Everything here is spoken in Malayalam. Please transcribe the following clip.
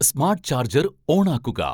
സ്മാട്ട് ചാർജർ ഓണാക്കുക